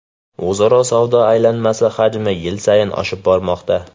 O‘zaro savdo aylanmasi hajmi yil sayin oshib bormoqda.